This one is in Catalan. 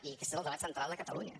i aquest és el debat central de catalunya